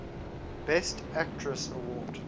best actress award